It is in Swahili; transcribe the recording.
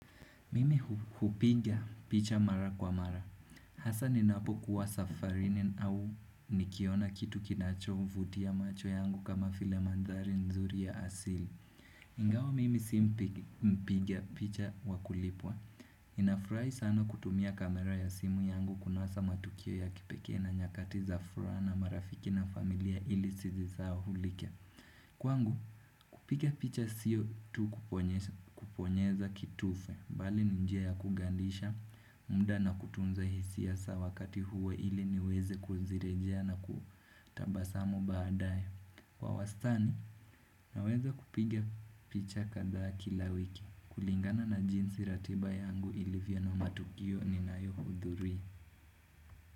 Mimi hupiga picha mara kwa mara, hasa ninapo kuwa safarini au nikiona kitu kinacho vutia macho yangu kama file mandhari nzuri ya asili. Ngao mimi si mpiga picha wa kulipwa, ninafurai sana kutumia kamera ya simu yangu kunasa matukio ya kipekee na nyakati za furaha na marafiki na familia ili sizisahaulike. Kwangu kupiga picha siyo tu kuponyeza kitufe Bali ni njia ya kugandisha muda na kutunza hisia sa wakati huwo ili niweze kuzirejea na kutabasamu baadaye Kwa wastani naweza kupiga picha kadhaa kila wiki kulingana na jinsi ratiba yangu ilivyo na matukio ninayo hudhuria.